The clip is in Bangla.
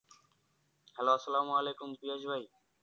Hello আসসালামু আলাইকুম ফিরোজ ভাই।